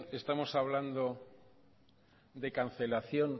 estamos hablando de cancelación